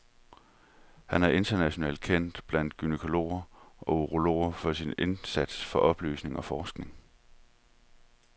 Han er internationalt kendt blandt gynækologer og urologer for sin indsats for oplysning og forskning.